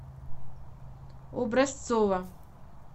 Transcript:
образцова